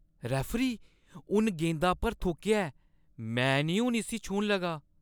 Referee, उन गेंदा पर थुक्केआ ऐ। में नेईं हून इस्सी छूह्‌न लगा।